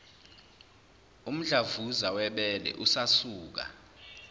umdlavuza webele usasuka